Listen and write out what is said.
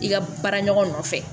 I ka baara ɲɔgɔn nɔfɛ